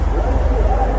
Lə iləhə illəllah.